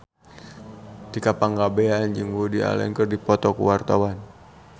Tika Pangabean jeung Woody Allen keur dipoto ku wartawan